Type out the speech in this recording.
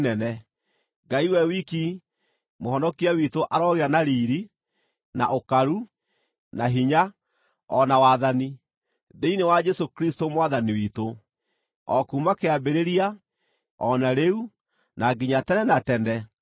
Ngai we wiki Mũhonokia witũ arogĩa na riiri, na ũkaru, na hinya, o na wathani, thĩinĩ wa Jesũ Kristũ Mwathani witũ, o kuuma kĩambĩrĩria, o na rĩu, na nginya tene na tene! Ameni.